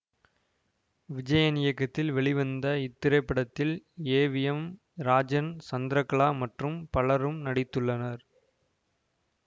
விஜயன் இயக்கத்தில் வெளிவந்த இத்திரைப்படத்தில் A V M Rajan Chandrakala மற்றும் பலரும் நடித்துள்ளனர்